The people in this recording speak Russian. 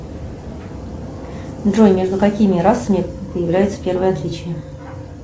джой между какими расами появляются первые отличия